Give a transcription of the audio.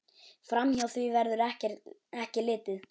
Framhjá því verður ekki litið.